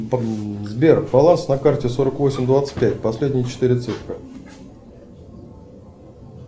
сбер баланс на карте сорок восемь двадцать пять последние четыре цифры